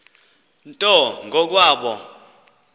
nto ngo kwabo